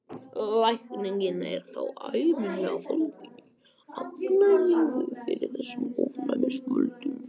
Lækningin er þá ævinlega fólgin í afnæmingu fyrir þessum ofnæmisvöldum.